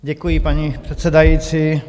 Děkuji, paní předsedající.